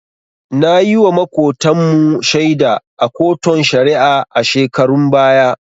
Nayiwa Makotan mu shaida a koton shari'a a shekarun baya